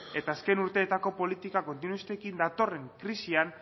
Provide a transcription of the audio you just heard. eta azken urteetako politika kontinuistekin datorren krisian